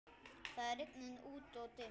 Það er rigning úti-og dimmt.